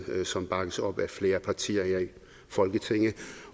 som bakkes op af flere partier her i folketinget